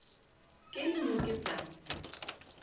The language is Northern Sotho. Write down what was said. ke le mo ke sa